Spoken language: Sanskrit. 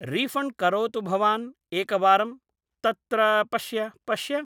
रीफ़ण्ड् करोतु भवान् एकवारं तत्र पश्य पश्य